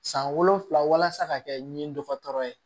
San wolonfila walasa ka kɛ nin dɔgɔtɔrɔ ye